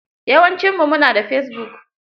Yawancinmu mu na fesibuk.